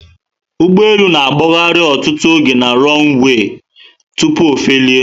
Ugbọelu na agbahari ọtụtụ oge na 'runaway' tupu ofelie